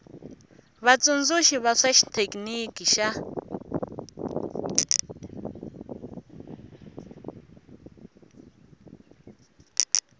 vatsundzuxi va swa xithekiniki va